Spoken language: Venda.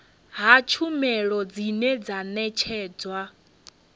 ha tshumelo dzine dza ṋetshedzwa